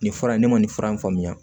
Nin fura in ne ma nin fura in faamuya